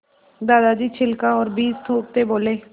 दादाजी छिलका और बीज थूकते बोले